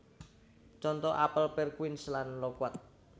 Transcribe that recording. Conto apel pir quince lan lokuat